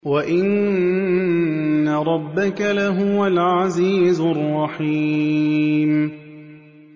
وَإِنَّ رَبَّكَ لَهُوَ الْعَزِيزُ الرَّحِيمُ